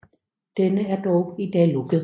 Denne er dog i dag lukket